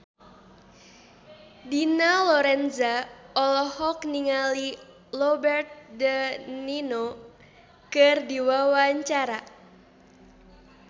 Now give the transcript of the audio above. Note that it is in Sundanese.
Dina Lorenza olohok ningali Robert de Niro keur diwawancara